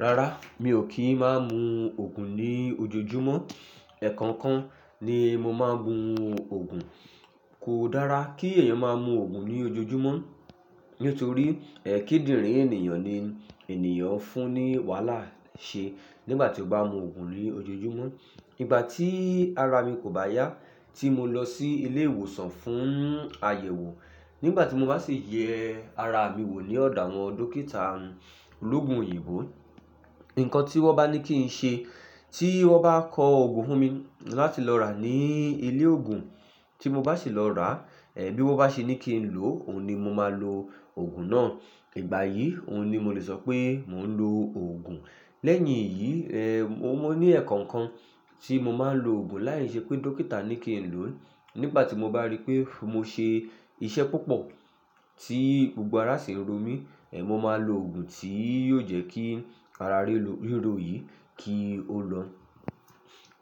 Rárá, mi ò kí ń má mú Ògùn ní ojoojúmọ́. Ẹ̀ẹ̀kọ́okan ni mo máa ń mu Ògùn. Kò dára kí ẹ̀eyàn má mú Ògùn ní ojoojúmọ́ nítorí kidìrìn ènìyàn ni ènìyàn ń fún ní wàhálà ṣe nígbà tí ó bá n mú Ògùn ní ojoojúmọ́. Nígbà tí ara mi kò bá yá, tí mo lọ sí ilé ìwòsàn fún àyẹ̀wò, nígbà tí mo bá ṣi yẹ ara mi wò ní ọ̀dọ̀ àwọn dókítà olóogun òyìnbó, nǹkan tí wọ́n bá ní kí ń ṣe, tí wọ́n bá kọ Ògùn fún mi láti lọ rà ní ilé ògùn tí mo bá sì lọ rà, bí wọ́n bá ṣe ní kí ń lò ó, òun ni mo máa lo Ògùn náà. Ìgbà yìí, òun ni mo lè sọ pé mò ń lo Ògùn. Lẹ́yìn eyí, o maa ní ẹ̀ẹ̀kọ́okan tí mo máa ń lo Ògùn láì ṣe pé dókítà ní kí ń lò ó. Nígbà tí mo bá rí pé mo ṣe iṣẹ́ púpọ̀ tí gbogbo ara ṣi ń ro mí, mo máa lo Ògùn tí yóò jẹ́ kí ara ríro yìí kí ó lọ.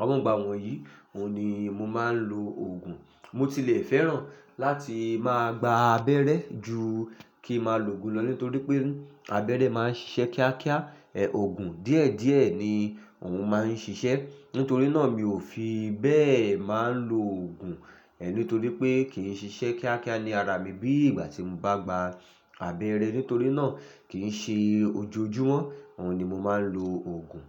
Awọn igba, wọn yìí, òun ni mo máa ń lo Ògùn. Mo tilẹ̀ fẹ́ràn láti máa gba abẹ́rẹ́ ju kí máa lo Ògùn lọ nítorí pé abẹ́rẹ́ máa ń ṣiṣẹ́ kíákíá, Ògùn díẹ̀díẹ̀ ni òun máa ń ṣiṣẹ́. Nítorí náà mi ò fi bẹ́ẹ̀ máa ń lo Ògùn nítorí pé kì í ṣiṣẹ́ kíákíá ní ara mi bí ìgbà tí mo bá gba abẹ́rẹ́. Nítorí náà kì í ṣe ojoojúmọ́, òun ni mo máa ń lo Ògùn.